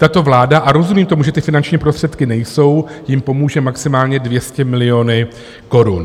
Tato vláda, a rozumím tomu, že ty finanční prostředky nejsou, jim pomůže maximálně 200 miliony korun.